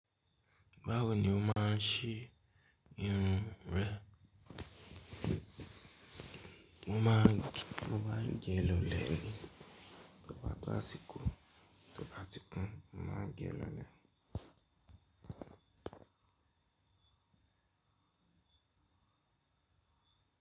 Báwo ni o máa ń ṣe irun rẹ? Mo máa ń gẹ́ lólè ní toba to àsìkò. To ba ti kun, mo máa ń gẹ́ lólè.